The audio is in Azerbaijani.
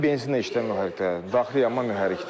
Bu benzinlə işləyən mühərrikdə daxili yanma mühərrikdir.